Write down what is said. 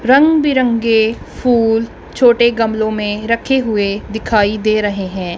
रंग बिरंगे फूल छोटे गमलों में रखे हुए दिखाई दे रहे हैं।